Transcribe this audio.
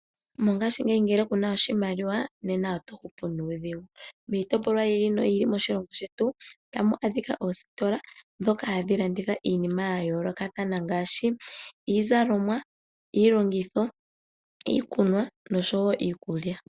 Mongaashingeyi ngele kuna oshimaliwa nena oto hupu nuudhigu. Miitopolwa yiili noyili moshilongo shetu otamu adhika oositola , ndjoka hadhi landitha iinima yayoolokathana ngaashi iizalomwa , iilongithwa, iikunwa noshowoo iikulya.